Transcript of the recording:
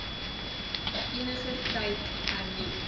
eniger tyd hernu